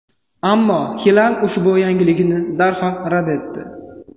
Ammo Xilal ushbu yangilikni darhol rad etdi.